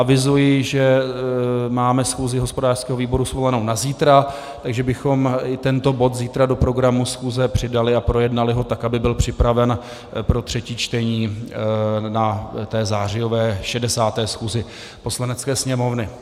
Avizuji, že máme schůzi hospodářského výboru svolanou na zítra, takže bychom i tento bod zítra do programu schůze přidali a projednali ho tak, aby byl připraven pro třetí čtení na té zářijové, 60. schůzi Poslanecké sněmovny.